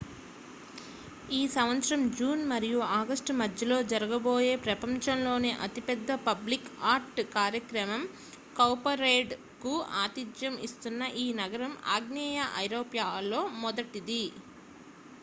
ఈ సంవత్సరం జూన్ మరియు ఆగస్టు మధ్యలో జరగబోయే ప్రపంచంలోనే అతిపెద్ద పబ్లిక్ ఆర్ట్ కార్యక్రమం కౌపరేడ్ కు ఆతిథ్యం ఇస్తున్న ఈ నగరం ఆగ్నేయ ఐరోపాలో మొదటిది